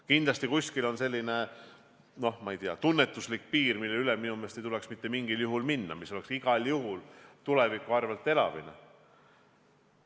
Kindlasti on kuskil selline, ma ei tea, tunnetuslik piir, millest üle minu meelest ei tuleks mitte mingil juhul minna, mis oleks igal juhul tuleviku arvel elamine.